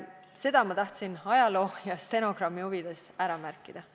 Seda ma tahtsin ajaloo ja stenogrammi huvides ära märkida.